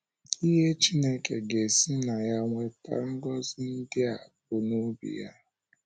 Ihe Chineke ga - esi na ya weta ngọzi ndị a bụ na obi ya.